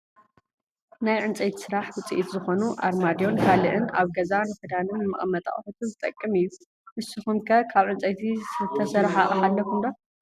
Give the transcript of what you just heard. ናይ ዕንፀይቲ ስራሕ ውፅኢት ዝኮኑ ኣርማድዮን ካልእን ኣብ ገዛ ንክዳንን ንመቀመጢ ኣቁሑትን ዝጠቅም እዮ። ንስኩም ከ ካብ ዕንፀይቲ ዝተሰረሓ ኣቅሓ ኣለኩም ዶ ?